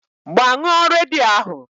Gbaa ṅụọ redio ahụ!